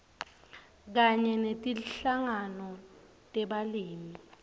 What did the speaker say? kanye netinhlangano tebalimi